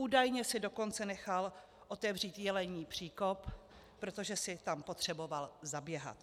Údajně si dokonce nechal otevřít Jelení příkop, protože si tam potřeboval zaběhat.